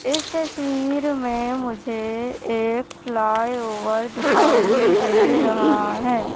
इस तस्वीर में मुझे एक फ्लाइओवर दिखाई दे रहा है।